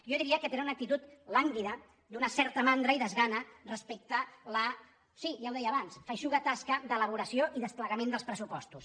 jo diria que tenen una actitud làngui·da d’una certa mandra i desgana respecte a la sí ja ho deia abans feixuga tasca d’elaboració i desplega·ment dels pressupostos